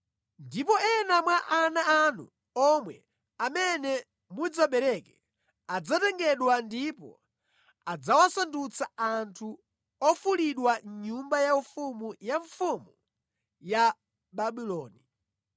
Ndipo ena mwa ana anu omwe, amene mudzabereke adzatengedwa ndipo adzawasandutsa anthu ofulidwa mʼnyumba yaufumu ya mfumu ya Babuloni.”